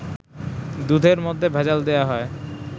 দুধের মধ্যে ভেজাল দেয়া হয়